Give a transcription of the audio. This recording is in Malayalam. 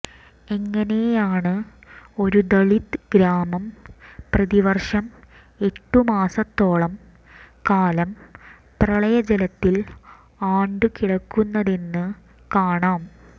എങ്ങനെയാണ് ഒരു ദളിത് ഗ്രാമം പ്രതിവർഷം എട്ടുമാസത്തോളം കാലം പ്രളയ ജലത്തിൽ ആണ്ട് കിടക്കുന്നതെന്ന് കാണാം